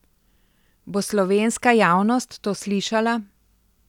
Bo slovenska javnost to slišala?